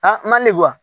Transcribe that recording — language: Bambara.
mali